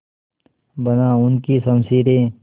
बना उनकी शमशीरें